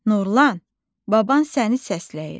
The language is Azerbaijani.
Nurlan, baban səni səsləyir.